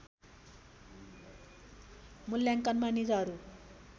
मूल्याङ्कनमा निजहरू